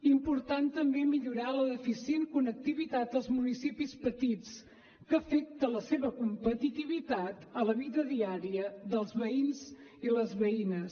important també millorar la deficient connectivitat dels municipis petits que afecta la seva competitivitat a la vida diària dels veïns i les veïnes